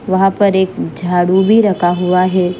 वहाँ पर एक झाड़ू भी रखा हुआ है।